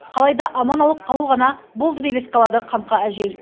қалай да аман алып қалу ғана болды деп еске алады қамқа әжей